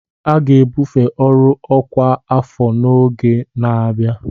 A ga-ebufe ọrụ ọkwa afọ n'ọgbọ na-abịa